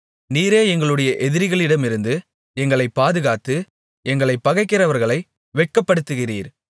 நீரே எங்களுடைய எதிரிகளிடமிருந்து எங்களை பாதுகாத்து எங்களைப் பகைக்கிறவர்களை வெட்கப்படுத்துகிறீர்